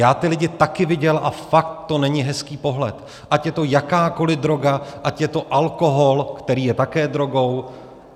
Já ty lidi taky viděl a fakt to není hezký pohled, ať je to jakákoli droga, ať je to alkohol, který je také drogou.